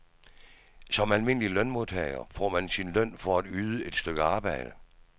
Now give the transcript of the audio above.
Som almindelig lønmodtager får man sin løn for at yde et stykke arbejde.